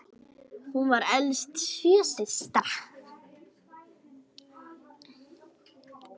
Hún var elst sjö systra.